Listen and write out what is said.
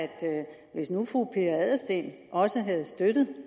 hvis nu fru pia adelsteen også havde støttet